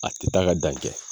A te taa ka dan kɛ